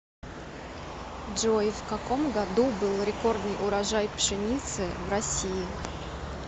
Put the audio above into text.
джой в каком году был рекордный урожай пшеницы в россии